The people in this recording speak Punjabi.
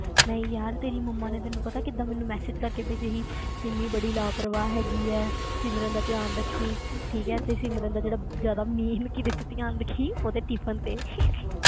ਨਹੀਂ ਯਾਰ ਤੇਰੀ ਮੰਮਾ ਨੇ ਤੈਨੂੰ ਪਤਾ ਕਿੱਦਾਂ ਮੈਨੂੰ message ਕਰਕੇ ਭੇਜਿਆ ਸੀ ਸਿਮੀ ਬੜੀ ਲਾਪਰਵਾਹ ਹੈਗੀ ਹੈ ਸਿਮਰਨ ਦਾ ਧਿਆਨ ਰੱਖੀ ਠੀਕ ਹੈ ਤੇ ਸਿਮਰਨ ਦਾ ਜਿਹੜਾ ਜ਼ਿਆਦਾ main ਕਿਹਦੇ ਤੇ ਧਿਆਨ ਰੱਖੀ, ਉਹਦੇ tiffin ਤੇ